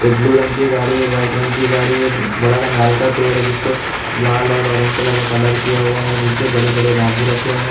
एक ब्लू रंग की गाड़ी है एक वाइट रंग की गाड़ी है एक बड़ा सा नारियल का पेड़ है जिस पे लाल और ऑरेंज कलर का कॉलर किया हुआ है नीचे बड़े-बड़े बांबू रखे हुए हैं।